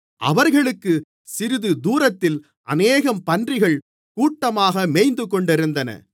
அவர்களுக்கு சிறிது தூரத்தில் அநேகம் பன்றிகள் கூட்டமாக மேய்ந்துகொண்டிருந்தன